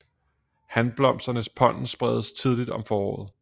Hanblomsternes pollen spredes tidligt om foråret